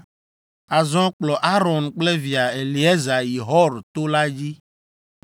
Azɔ, kplɔ Aron kple via Eleazar yi Hor to la dzi.